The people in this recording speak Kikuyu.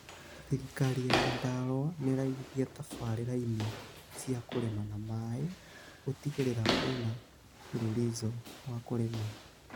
Thirikari ya Nyandarua nĩĩraigithia tabarĩrainĩ cĩa kũrĩma na maĩ, gũtigĩrĩra kwina mũbururizo ma kũrĩma